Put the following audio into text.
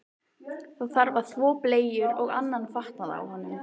Það þarf að þvo bleyjur og annan fatnað af honum.